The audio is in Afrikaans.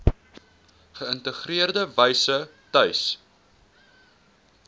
geïntegreerde wyse tuis